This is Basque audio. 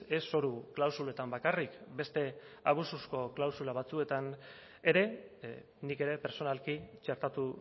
ez zoru klausuletan bakarrik beste abusuzko klausula batzuetan ere nik ere pertsonalki txertatu